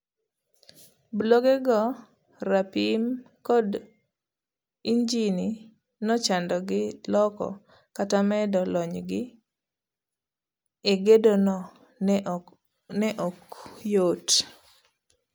Bulogego, rapim, kod injini nochandogi loko kata medo lonygi egedono ne ok yot.